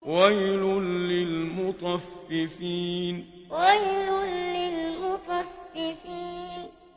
وَيْلٌ لِّلْمُطَفِّفِينَ وَيْلٌ لِّلْمُطَفِّفِينَ